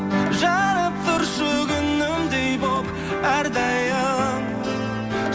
жанып тұршы күнімдей болып әр дайым